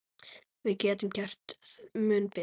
Við getum gert mun betur.